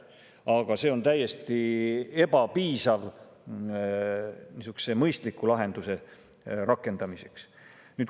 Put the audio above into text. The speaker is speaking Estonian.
Aga see on täiesti ebapiisav mõistliku lahenduse rakendamiseks.